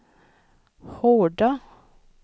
Horda